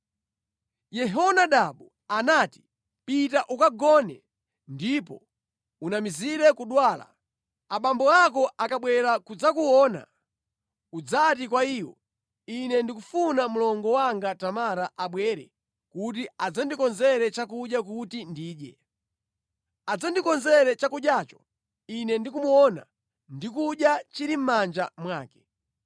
Yehonadabu anati, “Pita ukagone ndipo unamizire kudwala. Abambo ako akabwera kudzakuona, udzati kwa iwo, Ine ndikufuna mlongo wanga Tamara abwere kuti adzandikonzere chakudya kuti ndidye. Adzandikonzere chakudyacho ine ndikumuona ndi kudya chili mʼmanja mwake.”